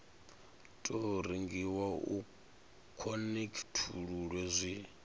tou rengiwa u khonekhithululwe zwi